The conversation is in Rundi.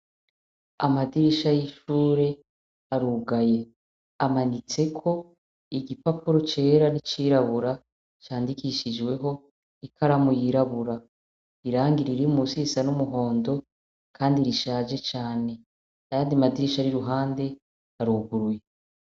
Amadirisha y'ishure arugaye. Amanitseko igipapuro cera n'icirabura candikishijweho ikaramu yirabura. Irangi riri musi risa n'umuhondo kandi rishaje cane n'ayandi madirisha ari iruhande aruguruye.